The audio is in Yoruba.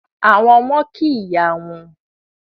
Àwọn ọmọ kí ìyá wọn